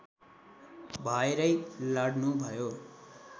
भएरै लड्नुभयो